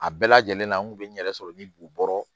A bɛɛ lajɛlen na n kun be n yɛrɛ sɔrɔ ni bu bɔrɔ